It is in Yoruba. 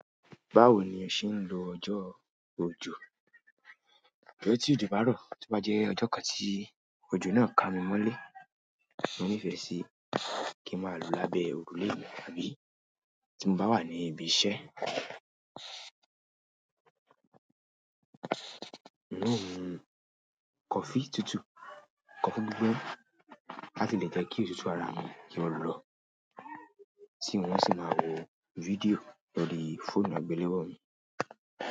Báwo ni ẹ̀ ń ṣe ń lo ọjọ́ ojó? Ọjọ ti ojo bárò, tí bá jẹ́ ọjọ́ kan tí ojó náà kà mí mọ́lé, mo nífẹ̀ẹ́ sí kí n máa lo lábẹ́ ojo náà àbí tí mo bá wà ní ibi iṣẹ́, un o mu coffee tútù, coffee gbígbóná láti lè jẹ́ kí òtútù ara mi kí o lọ. Tí wọ́n o sì máa wo fídíò lórí fóònù àgbéléwò mi.